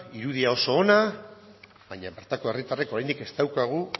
irudia oso ona baina bertako herritarren oraindik ez daukagu